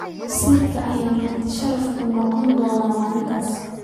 Wasiirka ayaa marti sharaf u noqon doona maalintaas.